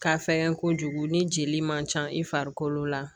Ka fɛgɛn kojugu ni jeli man ca i farikolo la